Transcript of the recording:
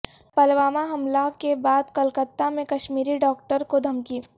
پلوامہ حملہ کے بعد کلکتہ میں کشمیری ڈاکٹر کو دھمکی